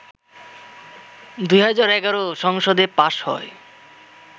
২০১১ সংসদে পাস হয়